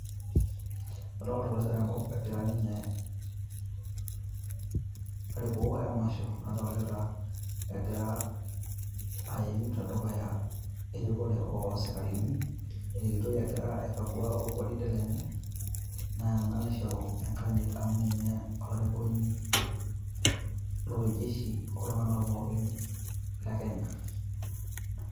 Adoolta oloitare le enkop egira ninye airiku emwasha adolita. Egira aiim te dukuya irikure oo sekarini irikitoi egira aikagua ogwaride lenye naa ena naishoro enkanyit amu ninye olarikoni loo oljeshi te ilndungana pookin le Kenya